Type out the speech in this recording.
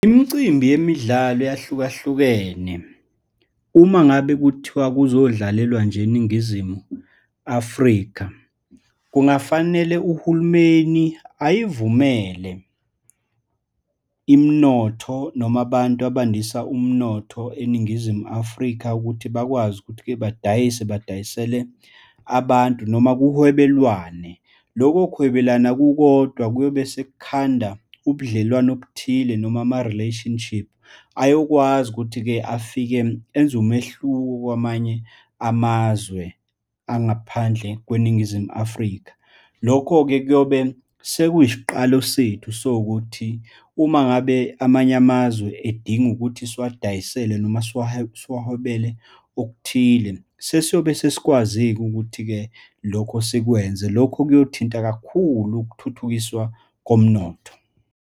Imicimbi yemidlalo eyahlukahlukene, uma ngabe kuthiwa kuzodlalelwa nje eNingizimu Afrika, kungafanele uhulumeni ayivumele imnotho, noma abantu abandisa umnotho eNingizimu Afrika ukuthi bakwazi ukuthi-ke badayise, badayisele abantu, noma kuhwebelwane. Loko kuhwebelana kukodwa kuyobe sekukhanda ubudlelwano obuthile, noma ama-relationship ayokwazi ukuthi-ke afike enze umehluko kwamanye amazwe angaphandle kweNingizimu Afrika. Lokho-ke kuyobe sekuyisiqalo sethu sowukuthi uma ngabe amanye amazwe edinga ukuthi siwadayisele noma siwahwebele okuthile, sesiyobe sesikwazi-ke ukuthi-ke lokho sikwenze. Lokhu kuyothinta kakhulu ukuthuthukiswa komnotho.